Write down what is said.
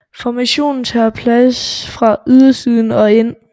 Formationen tager plads fra ydersiden og ind